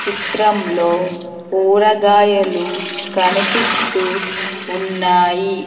చిత్రంలో కూరగాయలు కనిపిస్తూ ఉన్నాయి.